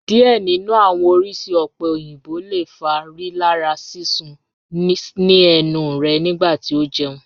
Diẹ ninu awọn oriṣi ope oyinbo le fa rilara sisun ni ẹnu rẹ nigbati o jẹun